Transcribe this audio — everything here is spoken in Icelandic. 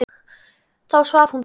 Þá svaf hún betur.